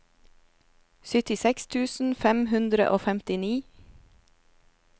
syttiseks tusen fem hundre og femtini